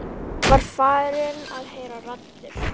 Var hann farinn að heyra raddir?